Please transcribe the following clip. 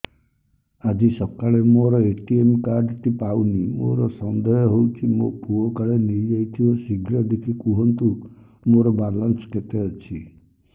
ଆଜି ସକାଳେ ମୋର ଏ.ଟି.ଏମ୍ କାର୍ଡ ଟି ପାଉନି ମୋର ସନ୍ଦେହ ହଉଚି ମୋ ପୁଅ କାଳେ ନେଇଯାଇଥିବ ଶୀଘ୍ର ଦେଖି କୁହନ୍ତୁ ମୋର ବାଲାନ୍ସ କେତେ ଅଛି